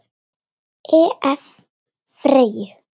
Ef. Freyju